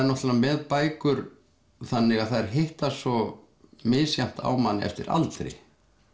náttúrulega með bækur þannig að þær hitta svo misjafnt á mann eftir aldri